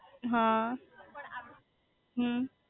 હ હમ્મ